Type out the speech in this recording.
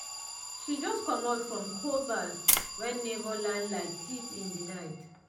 she just comot from cold baff when neighbor land like thief in the night.